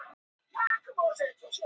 Augasteinn er linsa augans.